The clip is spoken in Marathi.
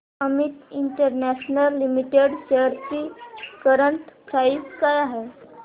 अमित इंटरनॅशनल लिमिटेड शेअर्स ची करंट प्राइस काय आहे